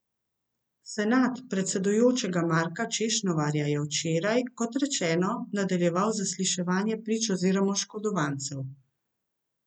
Senat predsedujočega Marka Češnovarja je včeraj, kot rečeno, nadaljeval zasliševanje prič oziroma oškodovancev.